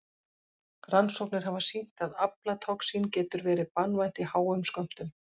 Rannsóknir hafa sýnt að aflatoxín getur verið banvænt í háum skömmtum.